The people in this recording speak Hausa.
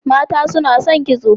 Mata suna son kitso.